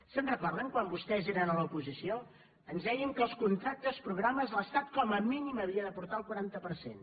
se’n recorden quan vostès eren a l’oposició ens deien que als contractes programa l’estat com a mínim hi havia d’aportar el quaranta per cent